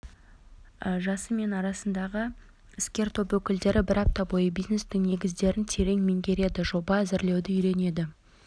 жасы бен арасындағы іскер топ өкілдері бір апта бойы бизнестің негіздерін терең меңгереді жоба әзірлеуді үйренеді